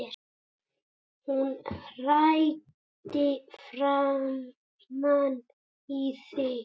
Hún hrækti framan í þig